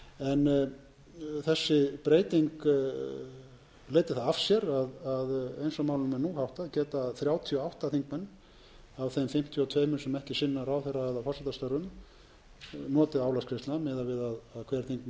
að eins og málum er nú háttað geta þrjátíu og átta þingmenn af þeim fimmtíu og tvö sem ekki sinna ráðherra eða forsetastörfum notið álagsgreiðslna miðað við að hver þingmaður sinni þá aðeins einu álagsverðu starfi það